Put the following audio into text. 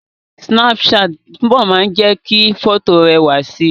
Súnápù ṣáàtì máa ń túbọ̀ jẹ́ kí fọ́tò rẹwà si